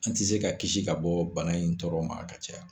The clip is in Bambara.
An tɛ se ka kisi ka bɔ bana in tɔɔrɔ ma a ka caya